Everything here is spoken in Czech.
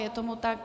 Je tomu tak.